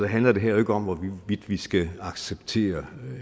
handler det her jo ikke om hvorvidt vi vi skal acceptere